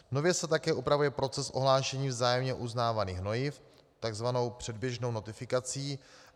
Nově se také upravuje proces ohlášení vzájemně uznávaných hnojiv tzv. předběžnou notifikací.